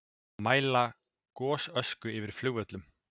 Mæla gosösku yfir flugvöllum